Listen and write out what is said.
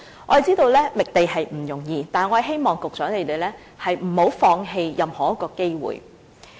我們知道覓地並不容易，但希望局長不要放棄任何一個機會。